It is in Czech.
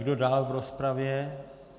Kdo dál v rozpravě?